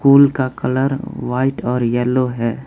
School का colour white और yellow है।